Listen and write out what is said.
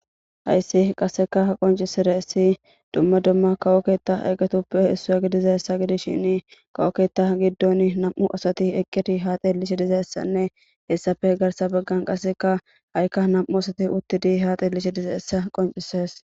Hays qaseka qoncisidays dumma dumma kawo ketha eqoytappe isuwa gidizaysa gidishin kawo keta gidon nam'u asat eqid ha xelishe dizaysanne qaseka ha'iaka nam'u asati xelishe dizaysa qoncises.